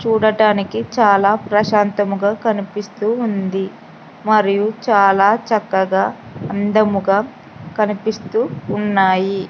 చూడటానికి చాలా ప్రశాంతముగా కనిపిస్తూ ఉంది మరియు చాలా చక్కగా అందముగా కనిపిస్తూ ఉన్నాయి.